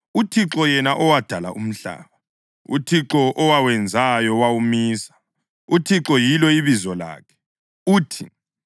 “ UThixo, yena owadala umhlaba, uThixo owawenzayo wawumisa, uThixo yilo ibizo lakhe, uthi,